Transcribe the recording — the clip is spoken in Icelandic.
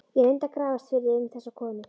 Ég reyndi að grafast fyrir um þessa konu.